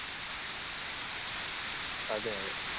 അതേയതെ.